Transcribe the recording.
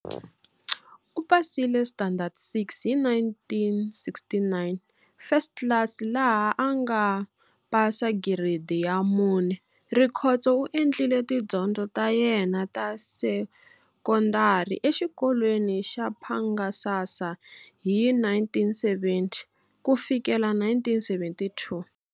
U pasile standard 6 hi 1969 First class laha a nga pasa giredi ya 4. Rikhotso u endlile tidyondzo ta yena ta sekondari exikolweni xa Phangasasa hi 1970 ku fikela 1972.